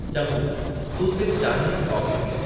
चङो, तूं सिर्फ चांहिं या कॉफी पीउ।